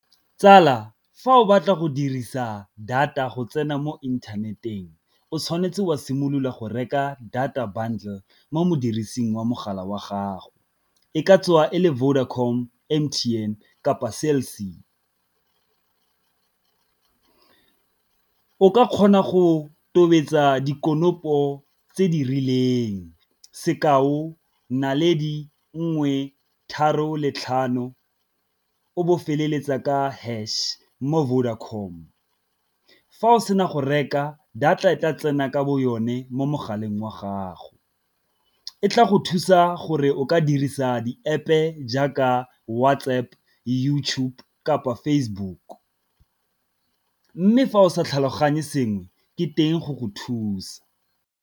Tsala fa o batla go dirisa data go tsena mo inthaneteng o tshwanetse wa simolola go reka data bundle mo modirisi wa mogala wa gago. E ka tswa e le Vodacom, M_T_N kapa Cell c. O ka kgona go tobetsa di konopo tse di rileng, sekao naledi nngwe tharo le botlhano o bo feleletsa ka hash mo Vodacom, fa o sena go reka data e tla tsena ka bo yone mo mogaleng wa gago. E tla go thusa go re o ka dirisa di-App-e jaaka WhatsApp, YouTube kapa Facebook mme fa o sa tlhaloganye sengwe ke teng go go thusa.